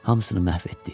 Hamısını məhv etdik.